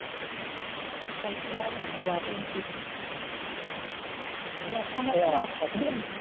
ਚਲ ਚੰਗਾ, ਮੈਂ ਆਖਿਆ ਮੈਂ .